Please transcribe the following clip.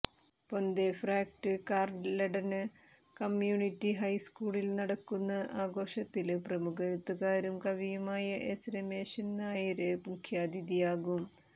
Pontefract Carleton community high സ്കൂളില് നടക്കുന്ന ആഘോഷത്തില് പ്രമുഖ എഴുത്തുകാരനും കവിയുമായ എസ് രമേശന് നായര് മുഖ്യാതിഥിയാകും